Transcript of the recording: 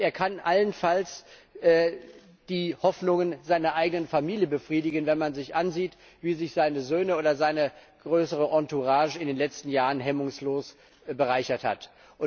Er kann allenfalls die Hoffnungen seiner eigenen Familie befriedigen, wenn man sich ansieht, wie sich seine Söhne oder seine größere Entourage in den letzten Jahren hemmungslos bereichert haben.